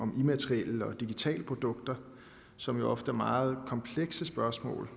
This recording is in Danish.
med immaterielle og digitale produkter som jo ofte vedrører meget komplekse spørgsmål